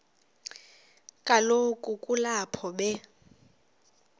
kaloku kulapho be